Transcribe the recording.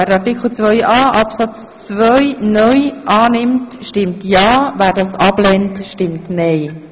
Wer Artikel 2a, Absatz 2 (neu) annimmt, stimmt ja, wer das ablehnt, stimmt nein.